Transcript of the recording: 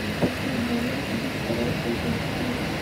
хочу бумер фильм второй фул эйч ди